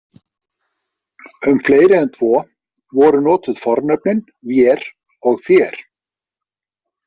Um fleiri en tvo voru notuð fornöfnin „vér“ og „þér“.